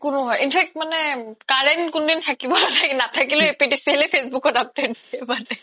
in fact মানে current কোন দিন থাকিব নাথাকিলে এপিডিচিএল য়ে facebook ত update দিয়ে মানে